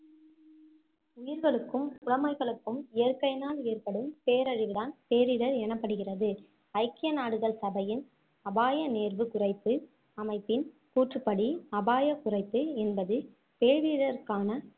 உயிர்களுக்கும் உடமைகளுக்கும் இயற்கையினால் ஏற்படும் பேரழிவுதான் பேரிடர் எனப்படுகிறது ஐக்கிய நாடுகள் சபையின் அபாய நேர்வு குறைப்பு அமைப்பின் கூற்றுப்படி அபாய குறைப்பு என்பது பேரிடருக்கான